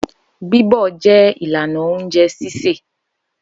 Bíbọ̀ jẹ́ ìlànà oúnjẹ sísè.